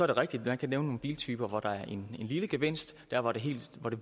det rigtigt at man kan nævne nogle biltyper hvor der er en lille gevinst der hvor det